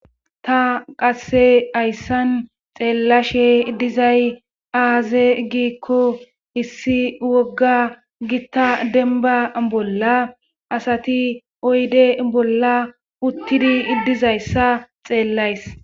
Ta qasse hayssan xeellashe dizay aaze giikko issi wogga gitta denba bolla asati oyde bolla uttidi dizayssa xeellays.